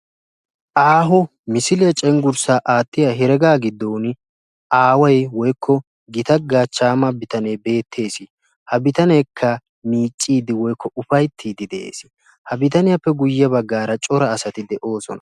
Aaho misilee cengurssaa aattiyaa heregaa giddoni aaway woykko gita gachchaama bitanee beettees. ha bitaneekka miicciidi woykko ufayttiidi de'ees. ha bitaniyaappe guye baggaara cora asati de'oosona.